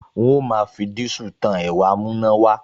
N óò máa fi dísù tan ẹ̀rọ amúnáwọlé